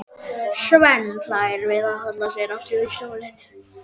Svenni hlær við og hallar sér aftur í stólnum.